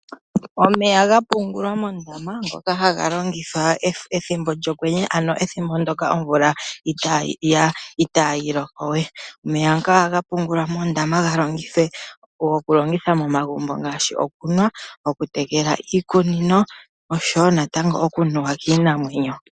Omeya ga pungulwa moondama ngoka haga longithwa pethimbo lyokwenye, ethimbo omvula itaayi loko we. Omeya ngaka ohaga pungulwa moondama ga longithwe momagumbo ngaashi okunwa, oku tekela iimeno, oshowo natango oku nuwa kiinamwenyo.